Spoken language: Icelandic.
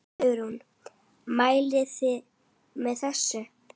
Hugrún: Mælið þið með þessu?